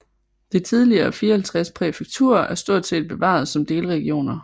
De tidligere 54 præfekturer er stort set bevaret som delregioner